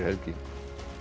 helgi